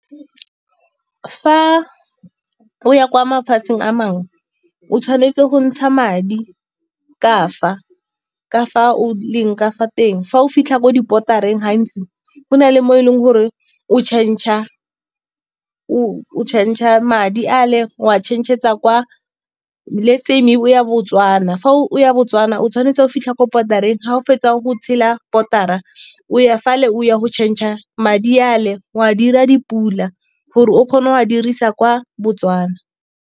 Fa o ya kwa mafatsheng a mangwe o tshwanetse go ntsha madi ka fa. Ka fa o leng ka fa teng, fa o fitlha ko di-boader-reng gantsi go na le mo e leng gore o change-a madi a le o a change-etsa kwa, let's say maybe o ya Botswana. Fa o ya Botswana, otshwanetse ga o fitlha kwa boarder-reng, ga o fetsa go tshela boarder-ra, o ya fale o ya go change-a madi a le o a dira di-Pula gore o kgona go a dirisa kwa Botswana.